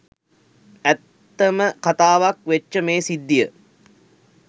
ඇත්තම කතාවක් වෙච්ච මේ සිද්ධිය